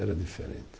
Era diferente.